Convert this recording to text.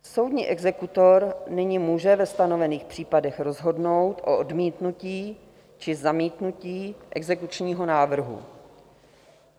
Soudní exekutor nyní může ve stanovených případech rozhodnout o odmítnutí či zamítnutí exekučního návrhu.